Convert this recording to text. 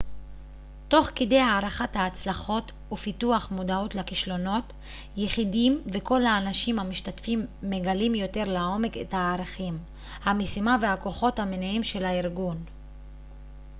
תוך כדי הערכת ההצלחות ופיתוח מודעות לכישלונות יחידים וכל האנשים המשתתפים מגלים יותר לעומק את הערכים המשימה והכוחות המניעים של הארגון